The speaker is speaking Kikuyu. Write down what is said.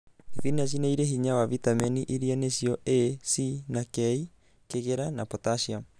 Thibinachi nĩrĩ hinya wa vitameni iria nĩcio A,C na K, kĩgera na potassiumu